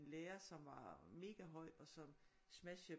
Lærer som var megahøj og som smashede